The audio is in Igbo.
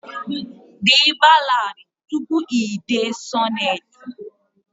Dee ballad tupu i dee sonnet